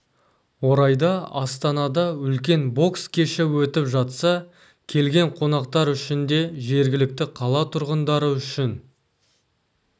орайда астанада үлкен бокс кеші өтіп жатса келген қонақтар үшін де жергілікті қала тұрғындары үшін